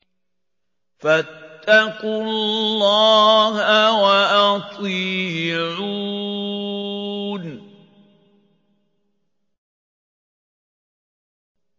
فَاتَّقُوا اللَّهَ وَأَطِيعُونِ